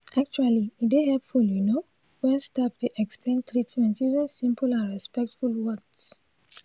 actually e dey hepful you no wen staf dey explain treatment using simple and respectful words.